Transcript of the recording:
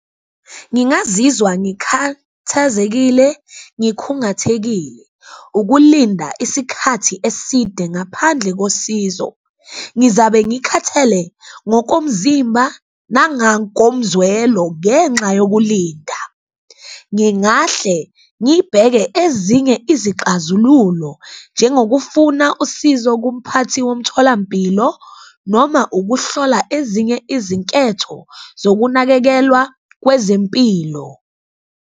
Ngingazizwa ngikhathazekile ngikhungathekile ukulinda isikhathi eside ngaphandle kosizo, ngizabe ngikhathele ngokomzimba nangakomzwelo ngenxa yokulinda, ngingahle ngibheke ezinye izixazululo. Njengokufuna usizo kumphathi womtholampilo noma ukuhlola ezinye izinketho zokunakekelwa kwezempilo.